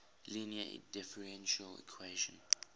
linear differential equation